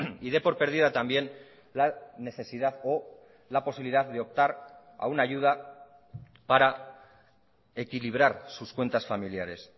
y dé por perdida también la necesidad o la posibilidad de optar a una ayuda para equilibrar sus cuentas familiares